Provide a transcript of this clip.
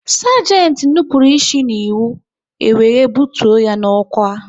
Sagenti nupụrụ isi n'iwu, e were bụtuo ya n'ọkwá